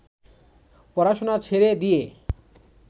পড়াশোনা ছেড়ে দিয়ে